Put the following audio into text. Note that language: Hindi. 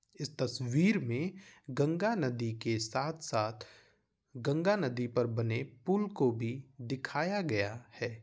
इस तस्वीर में गंगा नदी के साथ-साथ गंगा नदी पर बने पुल को भी दिखाया गया है।